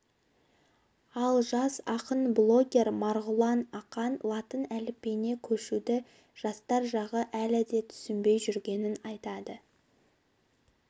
ал жас ақын блогер марғұлан ақан латын әліпбиіне көшуді жастар жағы әлі де түсінбей жүргенін айтады